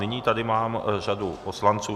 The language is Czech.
Nyní tady mám řadu poslanců.